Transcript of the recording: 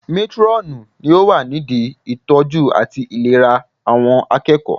Métúrọ̀nù ni ó wà nídi ìtọ́jú àti ìlera àwọn akẹ́kọ̀ọ́